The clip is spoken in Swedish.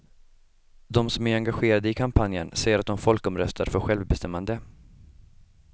De som är engagerade i kampanjen säger att de folkomröstar för självbestämmande.